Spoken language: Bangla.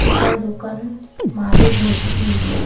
গোটা দোকান মালে ভর্তি।